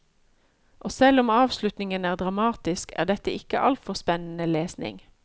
Og selv om avslutningen er dramatisk, er dette ikke altfor spennende lesning.